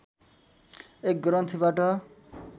एक ग्रन्थीबाट